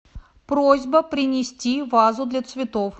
просьба принести вазу для цветов